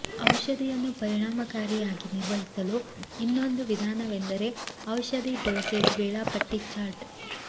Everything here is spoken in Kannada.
ಔಷಧಿಯನ್ನು ಪರಿಣಾಮಕಾರಿಯಾಗಿ ನಿರ್ವಹಿಸಲು ಇನ್ನೊಂದು ವಿಧಾನವೆಂದರೆ ಔಷಧಿ ಡೋಸೇಜ್ ವೇಳಾಪಟ್ಟಿ ಚಾರ್ಟ್